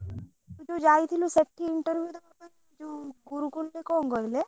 ତୁ ଯଉ ଯାଇଥିଲୁ ସେଠି interview ଦବା ପାଇଁ ଯଉ ଗୁରୁକୁଲ ରେ କଣ କହିଲେ?